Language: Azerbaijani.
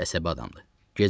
Dəhşət əsəbi adamdır.